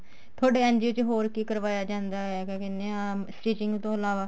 ਥੋਡੇ NGO ਚ ਹੋਰ ਕੀ ਕਰਵਾਇਆ ਜਾਂਦਾ ਕੀ ਕਹਿਨੇ ਆਂ stitching ਤੋਂ ਇਲਾਵਾ